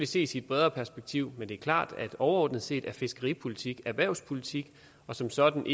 ses i et bredere perspektiv men det er klart at overordnet set er fiskeripolitik erhvervspolitik og som sådan